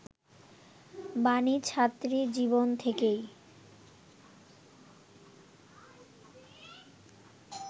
বাণী ছাত্রী জীবন থেকেই